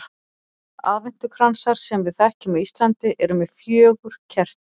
Aðventukransar sem við þekkjum á Íslandi eru með fjögur kerti.